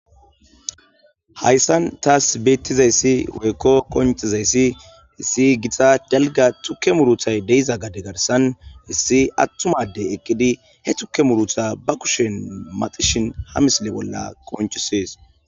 Hayssan taas beettizayssi weykko qoncizayssi hissi gixa dalga tukke muruthay deiza gade garsan hissi attumadey eqqidi he tukke murutha ba kushen maxishin ha misile bolla qonchisees.